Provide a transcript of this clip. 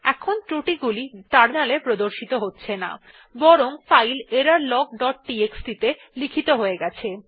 এখন ত্রুটি গুলি টার্মিনালে প্রদর্শিত হচ্ছে না বরং ফাইল এররলগ ডট টিএক্সটি ত়ে লিখিত হয়ে গেছে